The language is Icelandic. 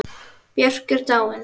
Björk er dáin.